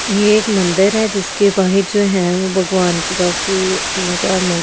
यह एक मंदिर है जिसके बाहर जो है वो भगवान की काफी तीन-चार मूर्तियां।